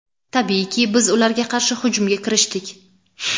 Tabiiyki, biz ularga qarshi hujumga kirishdik.